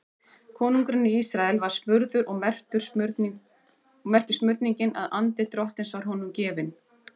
Konungurinn í Ísrael var smurður og merkti smurningin að andi Drottins var honum gefinn.